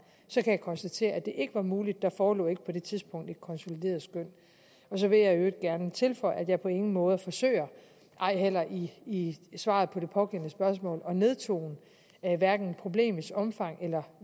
jeg konstatere at det ikke var muligt der forelå ikke på det tidspunkt et konsolideret skøn så vil jeg i øvrigt gerne tilføje at jeg på ingen måde forsøger ej heller i svaret på det pågældende spørgsmål at nedtone problemets omfang eller